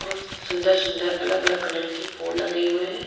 बहुत सुन्दर सुन्दर अलग अलग आदर की फूल गये हुए हैं।